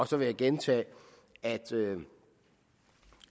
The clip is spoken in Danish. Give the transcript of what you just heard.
så vil jeg gentage at